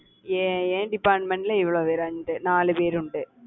என் என் department ல இவ்வளவு பேர் உண்டு, நாலு பேர் உண்டு